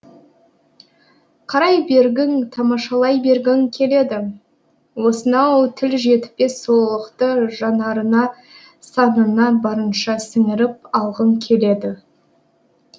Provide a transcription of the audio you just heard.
қарай бергің тамашалай бергің келеді осынау тіл жетпес сұлулықты жанарыңа санаңа барынша сіңіріп алғың келеді